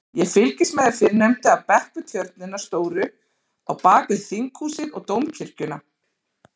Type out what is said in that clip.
Ég fylgist með þeim fyrrnefndu af bekk við tjörnina stóru á bakvið Þinghúsið og Dómkirkjuna.